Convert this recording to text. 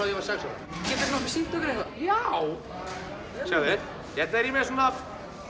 ég var sex ára geturðu sýnt okkur eitthvað já sérðu hérna er ég með svona